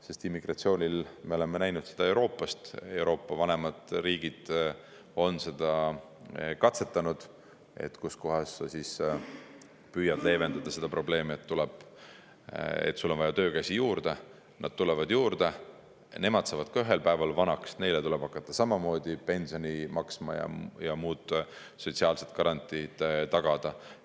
Sest immigratsiooni puhul, mida me oleme näinud Euroopas, Euroopa vanemad riigid on seda katsetanud: kuidas leevendada seda, et on vaja töökäsi juurde, nad tulevad juurde, ka nemad saavad ühel päeval vanaks, neile tuleb hakata samamoodi pensioni maksma ja muud sotsiaalsed garantiid tagada.